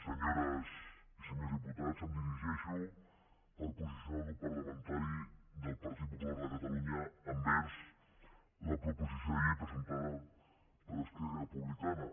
senyores i senyors diputats em dirigeixo per posicionar el grup parlamentari del partit popular de catalunya envers la proposició de llei presentada per esquerra republicana